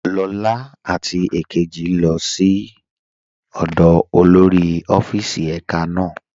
Lọla àti èkéjì lọ sí ọ̀dọ́ olórí ọ̀fíìsì èká náà.